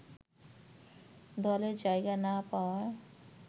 দলে জায়গা না পাওয়া